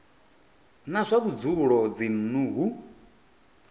wa zwa vhudzulo dzinnu hu